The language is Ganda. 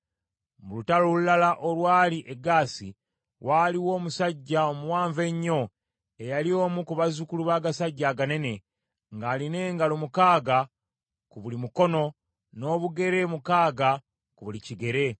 Mu lutalo olulala olwali e Gaasi, waaliwo omusajja omuwanvu ennyo eyali omu ku bazzukulu b’agasajja aganene, ng’alina engalo mukaaga ku buli mukono, n’obugere mukaaga ku buli kigere.